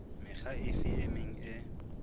mekga efe e meng e